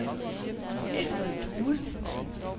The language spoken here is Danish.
Alfred Due